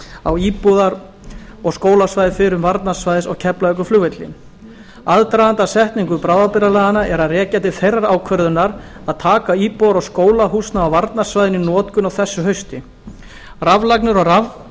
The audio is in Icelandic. á íbúðar og skólasvæði fyrrum varnarsvæðis á keflavíkurflugvelli aðdraganda að setningu bráðabirgðalaganna er að rekja til þeirrar ákvörðunar að taka íbúðar og skólahúsnæði á varnarsvæðinu í notkun á þessu hausti raflagnir og